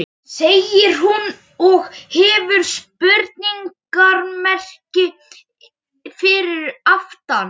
segir hún, og hefur spurningarmerki fyrir aftan.